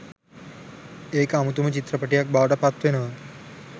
ඒක අමුතුම චිත්‍රපටියක් බවට පත්වෙනවා